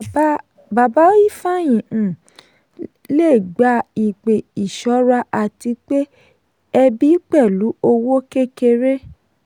bàbá ifeanyi um le gba ìpè ìṣọ́ra àti pe ẹbí pẹ̀lú owó kékeré.